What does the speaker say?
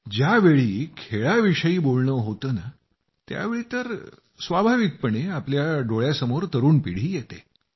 ज्यावेळी खेळाविषयी बोलणं होतं त्यावेळी तर स्वाभाविकतेनं आपल्या डोळ्यासमोर तरूण पिढी येते